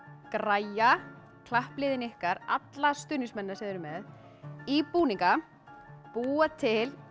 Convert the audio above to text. græja klappliðin ykkar alla stuðningsmennina sem þið eruð með í búninga búa til